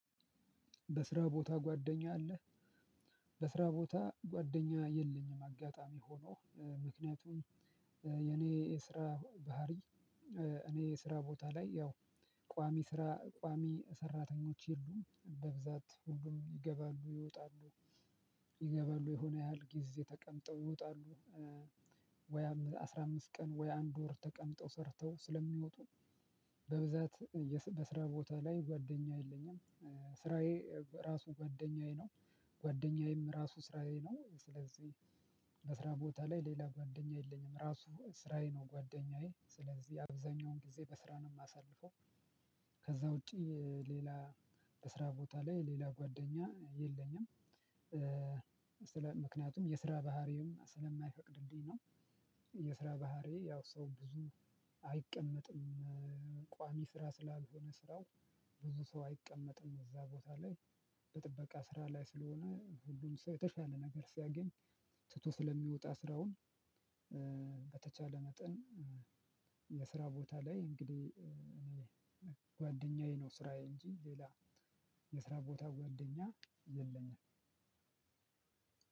በስራ ቦታ ጓደኛ አለ በስራ ቦታ ጓደኛ የለኝም አጋጣሚ ሆኖ ምክንያቱም የኔ የስራ ባህሪ እኔ የስራ ቦታ ላይ ያው ቋሚ ስራ ቋሚ ሰራተኞች የሉም በብዛት ሁሉም ይገባሉ ይወጣሉ። ይገባሉ የሆነ ያህል ጊዜ ተቀምጠው ይወጣሉ ወይ አስራ አምስት ቀን ወይ አንድ ወር ተቀምጠው ሰርተው ስለሚወጡ በብዛት በስራ ቦታ ላይ ጓደኛ የለኝም ስራዬ ራሱ ጓደኛዬ ነው ጓደኛዬም ራሱ ስራዬ ነው ስለዚህ በስራ ቦታ ላይ ሌላ ጓደኛ የለኝም ራሱ ስራዬ ነው ጓደኛዬ ስለዚህ አብዛኛውን ጊዜ በስራ ነው የማሳልፈው። ከዛ ውጪ ሌላ በስራ ቦታ ላይ ሌላ ጓደኛ የለኝም ስለ ምክንያቱም የስራ ባህሪው ስለማይፈቅድልኝ ነው። የስራ ባህሪዬ ያው ሰው ብዙ አይቀመጥም ቋሚ ስራ ስላልሆነ ስራው ብዙ ሰው አይቀመጥም እዛ ቦታ ላይ በጥበቃ ስራ ላይ ስለሆነ ሁሉም ሰው የተሻለ ነገር ሲያገኝ ትቶ ስለሚወጣ ስራውን በተቻለ መጠን የስራ ቦታ ላይ እንግዲህ እኔ ጓደኛዬ ነው ስራዬ እንጂ ሌላ የስራ ቦታ ጓደኛ የለኝም።